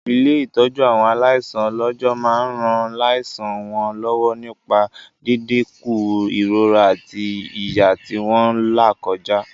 Ilé-ìtọ́jú àwọn aláìsàn ọlọ́jọ́ máa ran láìsàn wọn lọ́wọ́ nípa dídínkù ìrora àti ìyà tí wọ́n làkọjá.